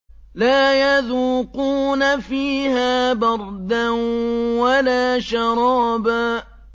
لَّا يَذُوقُونَ فِيهَا بَرْدًا وَلَا شَرَابًا